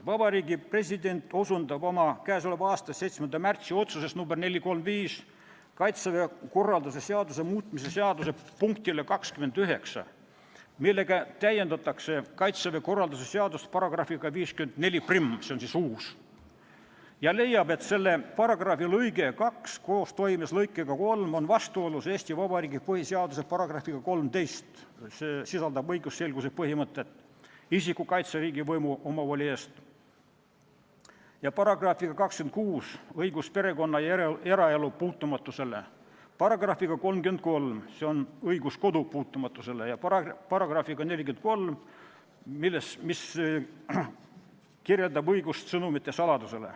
Vabariigi President osutab oma k.a 7. märtsi otsuses nr 435 Kaitseväe korralduse seaduse muutmise seaduse punktile 29, millega täiendatakse Kaitseväe korralduse seadust §-ga 541, see on siis uus paragrahv, ja leiab, et selle paragrahvi lõige 2 koostoimes lõikega 3 on vastuolus Eesti Vabariigi põhiseaduse §-ga 13, mis sätestab õigusselguse põhimõtte , §-ga 26 , §-ga 33 ja §-ga 43 .